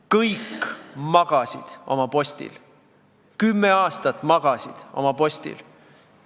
Kõik magasid oma postil, kümme aastat magasid oma postil.